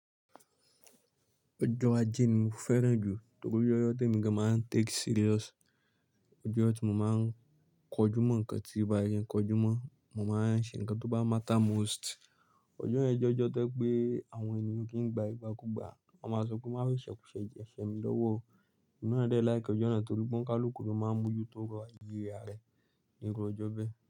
Ọjọ́ ajé ni mo fẹ́ràn jù torí ọjọ́ tí emi gaan máa ń take serious. Ọjọ́ tí mo máa ń kojú mọ́ nǹkan tí ó bá yẹ kó jumọ́, mo máa ń ṣe nǹkan tó bá matter most. Ọjọ́ yẹn ọjọ tó jẹ́ wípé àwọn ènìyàn o kì í n gba ìgbàkúgbà, wọ́n máa sọpé, máa fi ìṣẹ̀kuṣẹ̀ jẹ̀ ṣẹ́ mi lọ́wọ́. Èmi náà dẹ láìki ọjọ́ náà torí pé ó ń kálùkù ló máa ń mú ojú tó ọrọ̀ ayé ara ẹ̀ nírú ọjọ́ bẹ́ẹ̀.